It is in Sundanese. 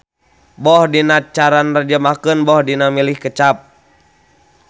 Boh dina cara narjamahkeun boh dina milih kecap.